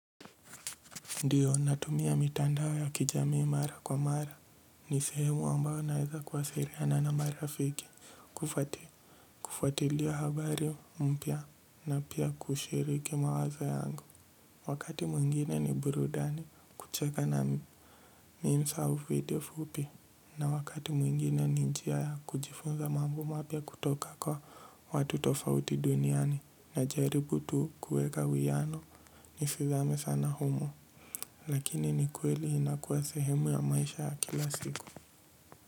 Ndiyo natumia mitandao ya kijamii mara kwa mara. Ni sehemu ambayo naeza kwa siliana na marafiki. Kufatilia habari mpya na pia kushiriki mawazo yangu. Wakati mwingine ni burudani kucheka na minsa u video fupi. Na wakati mwingine ni njia ya kujifunza mambo mapya kutoka kwa watu tofauti duniani. Na jaribu tu kueka uwiano nisizame sana humo. Lakini ni kweli inakuwa sehemu ya maisha kila siku.